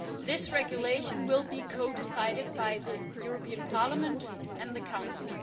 This regulation will be codecided by the European Parliament and the Council.'